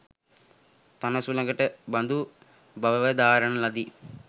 තණ සුලකට බඳු බවවදාරන ලදී.